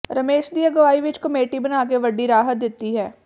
ਰਮੇਸ਼ ਦੀ ਅਗਵਾਈ ਵਿਚ ਕਮੇਟੀ ਬਣਾ ਕੇ ਵੱਡੀ ਰਾਹਤ ਦਿੱਤੀ ਹੈ